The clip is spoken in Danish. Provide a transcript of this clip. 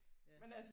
Ja